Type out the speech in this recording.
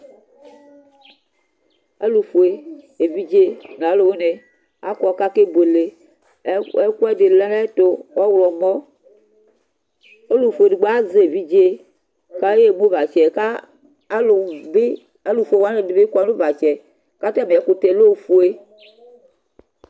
Alʋfue evidze nʋ alʋwini akɔ kʋ akebuele Ɛkʋɛdi lɛnʋ ayʋ ɛtʋ ɔwlɔmɔ, ɔlʋfue edigbo azɛ evidze kʋ ayemʋ uvatsɛAlʋfue ɛdinibi kɔnʋ ʋvatsɛ kʋ atami ɛkʋtɛ lɛbofue